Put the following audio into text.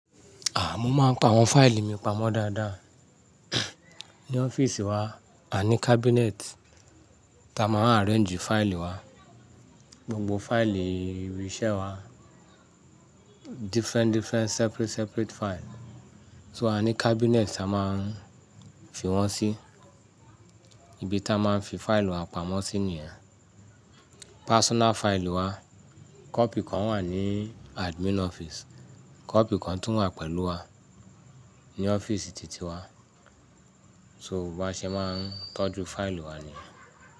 Hà, mo máa ń pa àwọn fáìlì mi pamọ́ dáadáa. Ní ọ́fíìsì wa, a ní cabinet ta máa ń arrange fáìlì wa. Gbogbo fáìlì ibiṣẹ́ wa, different different separate separate file. So a ní cabinet a máa ń fi wọ́n sí, ibi ta máa ń fi fáìlì wa pamọ́ sí nìyẹn. Personal fáìlì wa, copy kan wà ní admin ọ́fíìsì, copy kan tún wà pẹ̀lú wa ní ọ́fíìsì titi wa. So bo bá ṣe máa ń tọ́jú fáìlì wa nìyẹn.